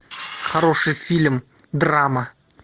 хороший фильм драма